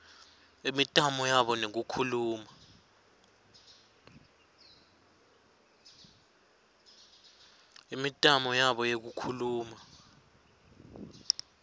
imitamo yabo yekukhuluma